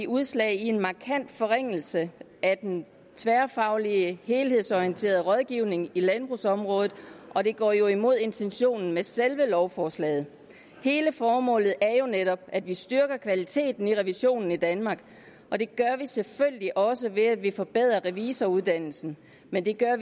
udslag i en markant forringelse af den tværfaglige helhedsorienterede rådgivning i landbrugsområdet og det går jo imod intentionen med selve lovforslaget hele formålet er jo netop at vi styrker kvaliteten i revisionen i danmark og det gør vi selvfølgelig også ved at vi forbedrer revisoruddannelsen men vi gør